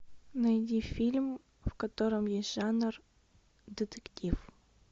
найди фильм в котором есть жанр детектив